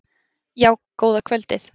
Já, góða kvöldið.